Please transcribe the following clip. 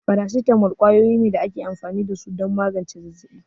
Farasitamol kwayoyi ne da ake amfani da su don magance zazzabi.